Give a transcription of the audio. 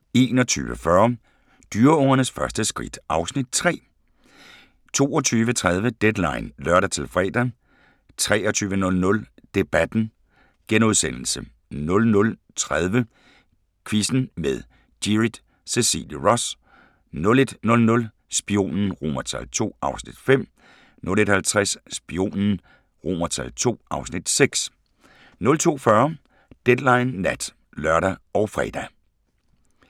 21:40: Dyreungernes første skridt (Afs. 3) 22:30: Deadline (lør-fre) 23:00: Debatten * 00:30: Quizzen med Gyrith Cecilie Ross * 01:00: Spionen II (Afs. 5) 01:50: Spionen II (Afs. 6) 02:40: Deadline Nat (lør og fre)